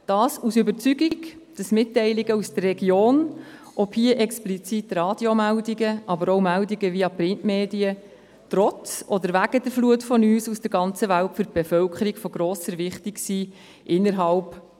Dies aufgrund der Überzeugung, dass Mitteilungen aus der Region, seien es Radiomeldungen oder seien es Meldungen via Printmedien, trotz oder wegen der Flut von News aus der ganzen Welt für die Bevölkerung einer Region von grosser Wichtigkeit sind.